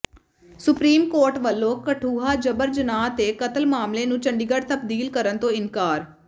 supreme court ਵਲੋਂ ਕਠੂਆ ਜਬਰ ਜਨਾਹ ਤੇ ਕਤਲ ਮਾਮਲੇ ਨੂੰ ਚੰਡੀਗੜ੍ਹ ਤਬਦੀਲ ਕਰਨ ਤੋਂ ਇਨਕਾਰ